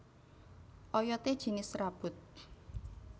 Oyodé jinis serabut